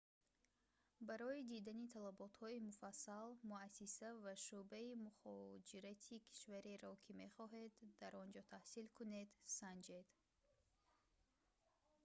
барои дидани талаботҳои муфассал муассиса ва шуъбаи мухоҷирати кишвареро ки мехоҳед дар он ҷо таҳсил кунед санҷед